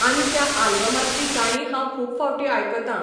आनी त्या आल्बमांतलीं गाणी हांव खूब फावटीं आयकतां.